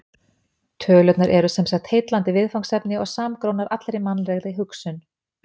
Tölurnar eru sem sagt heillandi viðfangsefni og samgrónar allri mannlegri hugsun.